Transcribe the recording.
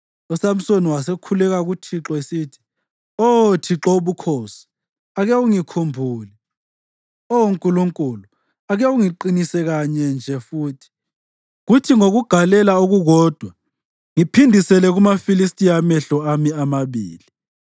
USamsoni wasekhuleka kuThixo esithi, “Oh Thixo Wobukhosi, ake ungikhumbule. Oh Nkulunkulu, ake ungiqinise kanye nje futhi, kuthi ngokugalela okukodwa ngiphindisele kumaFilistiya amehlo ami amabili.”